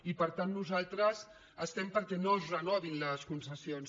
i per tant nosaltres estem perquè no es renovin les concessions